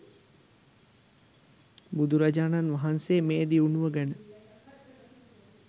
බුදුරජාණන් වහන්සේ මේ දියුණුව ගැන